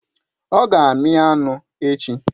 Ọ ga-amí anụ echi